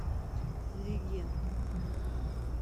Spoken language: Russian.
легенда